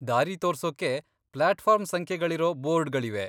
ದಾರಿ ತೋರ್ಸೋಕೆ ಪ್ಲಾಟ್ಫಾರ್ಮ್ ಸಂಖ್ಯೆಗಳಿರೋ ಬೋರ್ಡ್ಗಳಿವೆ.